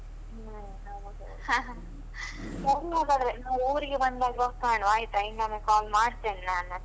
ಹ್ಮ್ ಸರಿ ಹಾಗಾದ್ರೆ ನಾ ಊರಿಗೆ ಬಂದಾಗ ಕಾಣುವ ಆಯ್ತಾ, ಇನ್ನೊಮ್ಮೆ call ಮಾಡ್ತೇನೆ ನಾನು.